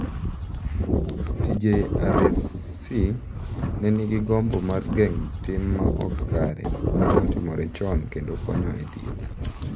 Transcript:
TJRC ne nigi gombo mar geng’o tim ma ok kare ma ne otimore chon kendo konyo e thieth.